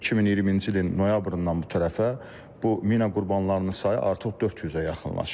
2020-ci ilin noyabrından bu tərəfə bu mina qurbanlarının sayı artıq 400-ə yaxınlaşır.